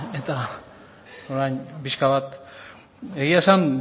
eta orain pixka bat egia esan